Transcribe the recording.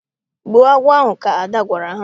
Gbuo agwọ ahụ! Ka Ada gwara ha.